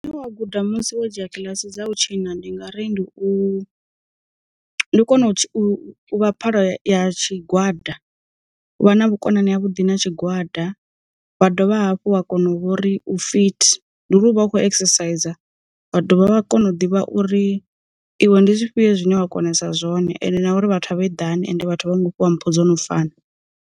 Wa guda musi wo dzhia kiḽasi dza u tshina ndi nga ri ndi u kona u phala tshigwada, u vha na vhukonani ha vhuḓi na tshigwada vha dovha hafhu a kona u vhori u fit nduri u vha u kho exercise vha dovha vha kona u ḓivha uri iwe ndi zwifhio zwine wa konesa zwone ende na uri vhathu a vha eḓani ende vhathu vha ngo fhiwa mpho dzo no fana.